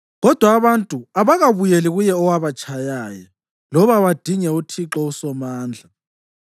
Kodwa abantu abakabuyeli kuye owabatshayayo. Loba badinge uThixo uSomandla.